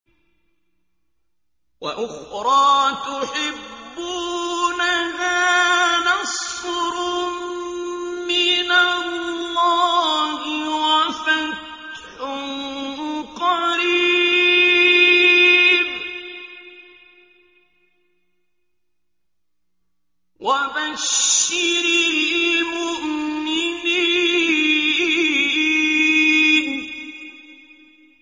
وَأُخْرَىٰ تُحِبُّونَهَا ۖ نَصْرٌ مِّنَ اللَّهِ وَفَتْحٌ قَرِيبٌ ۗ وَبَشِّرِ الْمُؤْمِنِينَ